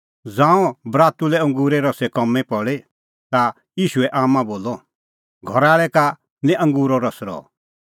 ज़ांऊं बरातू लै अंगूरे रसे कामीं पल़ी ता ईशूए आम्मां बोलअ घरा आल़ै का निं अंगूरो रस रहअ